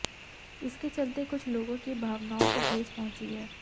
इसके चलते कुछ लोगों की भावनाओं को ठेस पहुंची है